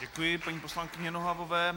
Děkuji paní poslankyni Nohavové.